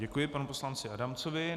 Děkuji panu poslanci Adamcovi.